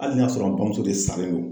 Hali n'i y'a sɔrɔ an bamuso de salen don